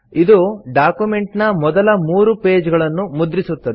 ಇದು ಡಾಕ್ಯುಮೆಂಟ್ ನ ಮೊದಲ ಮೂರು ಪೇಜ್ ಗಳನ್ನು ಮುದ್ರಿಸುತ್ತದೆ